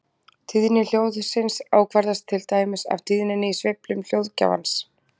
Tíðni hljóðsins ákvarðast til dæmis af tíðninni í sveiflum hljóðgjafans.